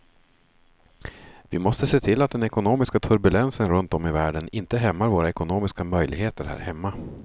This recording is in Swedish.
Vi måste se till att den ekonomiska turbulensen runt om i världen inte hämmar våra ekonomiska möjligheter här hemma.